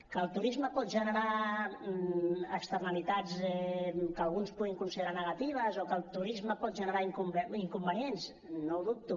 que el turisme pot generar externalitats que alguns puguin considerar negatives o que el turisme pot generar inconvenients no ho dubto